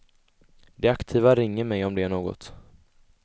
De aktiva ringer mig om det är något.